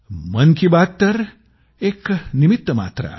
मन की बात तर एक निमित्तमात्र आहे